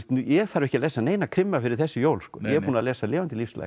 ég þarf ekki að lesa neina krimma fyrir þessi jól ég er búinn að lesa lifandi